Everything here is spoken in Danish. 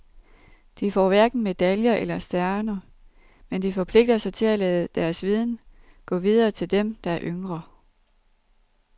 De får hverken medaljer eller stjerner, men forpligter sig til at lade deres viden gå videre til dem, der er yngre.